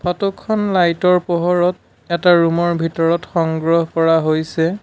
ফটোখন লাইটৰ পোহৰত এটা ৰুমৰ ভিতৰত সংগ্ৰহ কৰা হৈছে।